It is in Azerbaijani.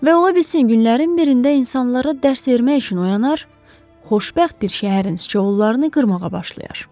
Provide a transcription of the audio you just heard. Və ola bilsin günlərin birində insanlara dərs vermək üçün oyanar, xoşbəxt bir şəhərin siçovullarını qırmağa başlayar.